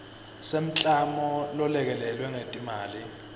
semklamo lolekelelwe ngetimali